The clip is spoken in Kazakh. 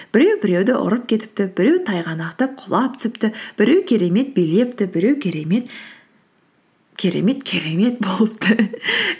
біреу біреуді ұрып кетіпті біреу тайғанақтап құлап түсіпті біреу керемет билепті біреу керемет керемет керемет болыпты